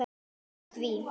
lýstu því?